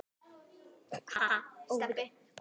Er enginn dómari?